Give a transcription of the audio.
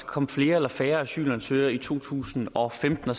komme flere eller færre asylansøgere i to tusind og femten